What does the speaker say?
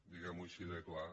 diguem ho així de clar